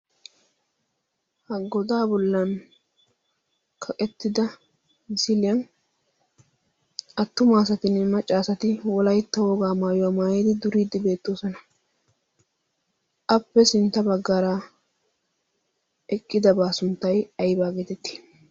ha godaa bollan kaqettida misiliyan attumaasatinne maccaasati wolaytto wogaa maayuwaa maayidi duriiddi beettoosona appe sintta baggaaraa eqqidabaa sunttay aybaa geetettii